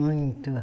Muito.